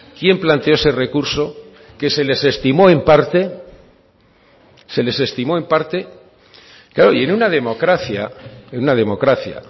quién planteó ese recurso que se les estimó en parte se les estimó en parte claro y en una democracia en una democracia